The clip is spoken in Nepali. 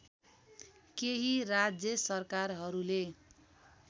केही राज्य सरकारहरूले